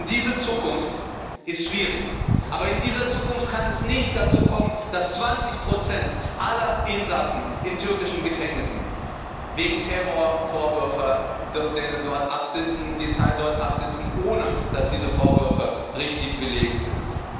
Diese Zukunft ist schwierig, aber in dieser Zukunft kann es nicht dazu kommen, dass 20 aller Insassen in türkischen Gefängnissen wegen Terrorvorwürfen die Zeit dort absitzen, ohne dass diese Vorwürfe richtig belegt sind.